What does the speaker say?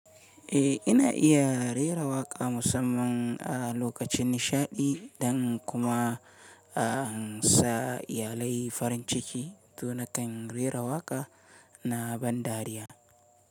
Eh, ina iya rera waƙa musamman a lokacin nishaɗi dan kuma a ansa iyalai farin ciki. To nakan rera waƙa na ban dariya.